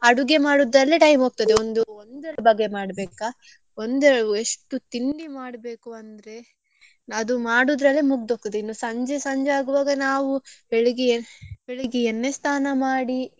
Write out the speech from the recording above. ಅಡುಗೆ ಮಾಡುದರಲ್ಲೇ time ಹೋಗ್ತದೆ ಒಂದು ಒಂದೆರಡು ಬಗೆ ಮಾಡ್ಬೇಕಾ ಒಂದೆ~ ಎಷ್ಟು ತಿಂಡಿ ಮಾಡ್ಬೇಕು ಅಂದ್ರೆ ಅದು ಮಾಡುದ್ರಲ್ಲೆ ಮುಗ್ದು ಹೋಗ್ತದೆ ಇನ್ನೂ ಸಂಜೆ ಸಂಜೆ ಆಗುವಾಗ ನಾವು ಬೆಳ್ಳಿಗ್ಗೆ ಬೆಳಿಗ್ಗೆ ಎಣ್ಣೆ ಸ್ಥಾನ ಮಾಡಿ.